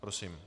Prosím.